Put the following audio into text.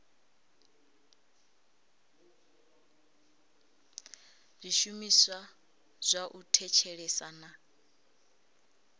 zwishumiswa zwa u thetshelesa na